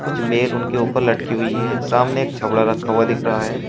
कुछ बेल उनके ऊपर लटकी हुई है सामने एक छबड़ा रखा हुआ दिख रहा है।